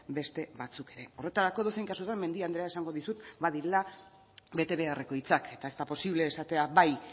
beste batzuk ere horretarako edozein kasutan mendia andreak esango dizu badirela bete beharreko hitzak eta ez da posible esatea bai